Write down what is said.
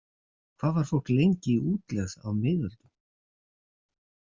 Hvað var fólk lengi í útlegð á miðöldum?